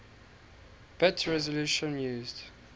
bit resolution used